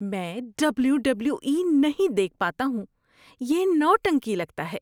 میں W W E نہیں دیکھ پاتا ہوں۔ یہ نوٹنکی لگتا ہے۔